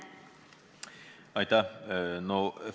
Aitäh!